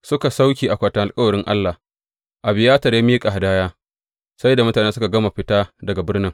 Suka sauke akwatin alkawarin Allah, Abiyatar ya miƙa hadaya sai da mutane suka gama fita daga birnin.